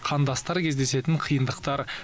қандастар кездесетін қиындықтар